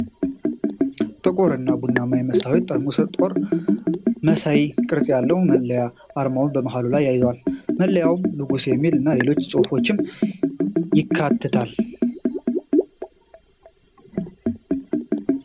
ጥቁር እና ቡናማ የመስታወት ጠርሙስ ጦር መሳይ ቅርጽ ያለው መለያ አርማውን በመሃሉ ላይ ይዟል። መለያው ንጉስ የሚል እና ሌሎች ጽሁፎችንም ያካትታል።